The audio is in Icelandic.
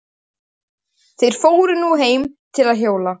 Þeir fóru nú heim til Jóa.